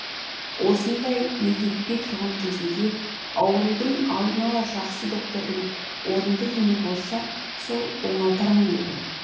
осындай мегдетпей тұрған кезінде аурудың алдын ала жақсы доктордың орынды емі болса сол оңалтар ма еді